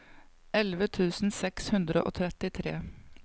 elleve tusen seks hundre og trettitre